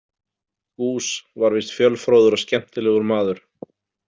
Goos var víst fjölfróður og skemmtilegur maður.